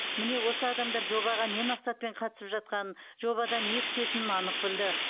міне осы адамдар жобаға не мақсатпен қатысып жатқанын жобадан не күтетінін анық білді